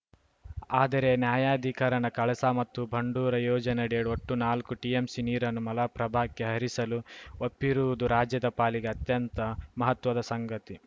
ಆದರೆ ನ್ಯಾಯಾಧಿಕರಣ ಕಳಸಾ ಮತ್ತು ಬಂಡೂರ ಯೋಜನೆಯಡಿ ಒಟ್ಟು ನಾಲ್ಕು ಟಿಎಂಸಿ ನೀರನ್ನು ಮಲಪ್ರಭಾಕ್ಕೆ ಹರಿಸಲು ಒಪ್ಪಿರುವುದು ರಾಜ್ಯದ ಪಾಲಿಗೆ ಅತ್ಯಂತ ಮಹತ್ವದ ಸಂಗತಿ